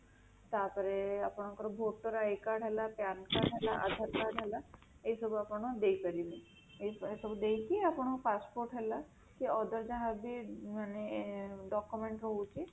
ତାପରେ ଆପଣଙ୍କର voter I card ହେଲା PAN card ହେଲା, Aadhaar card ହେଲା ଏହି ସବୁ ଆପଣ ଦେଇପାରିବେ ଏହି ସବୁ ଦେଇକି ଆପଣ passport ହେଲା କି other ଯାହା ବି ମାନେ document ହଉଚି